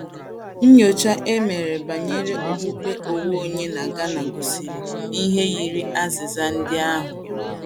Nnyocha e mere banyere okpukpe onwe onye na Ghana gosiri ihe yiri azịza ndị ahụ.